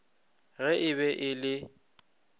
ge e be e le